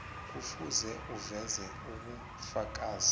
kufuze uveze ubufakazi